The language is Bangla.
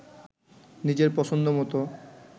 নিজের পছন্দ মতো